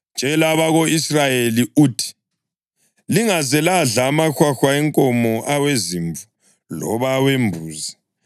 “Tshela abako-Israyeli uthi: ‘Lingaze ladla amahwahwa enkomo, awezimvu loba awembuzi.